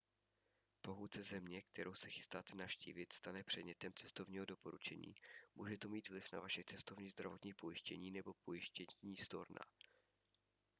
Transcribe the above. pokud se země kterou se chystáte navštívit stane předmětem cestovního doporučení může to mít vliv na vaše cestovní zdravotní pojištění nebo pojištění storna